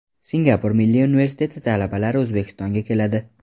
Singapur Milliy universiteti talabalari O‘zbekistonga keladi.